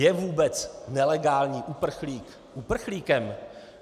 Je vůbec nelegální uprchlík uprchlíkem?